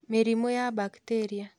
Mĩrimũ ya bakteria